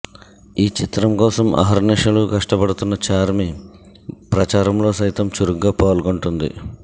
ఈ చిత్రంకోసం అహర్నిశలు కష్టపడుతున్న ఛార్మీ ప్రచారం లో సైతం చురుగ్గా పాల్గుంటుంది